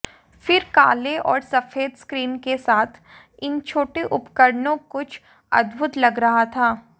फिर काले और सफेद स्क्रीन के साथ इन छोटे उपकरणों कुछ अद्भुत लग रहा था